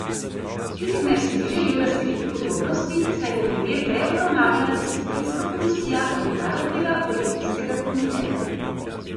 Tikmers ni želel razkriti podrobnosti, saj bo primer prej obravnavala disciplinska komisija Mednarodnega olimpijskega komiteja.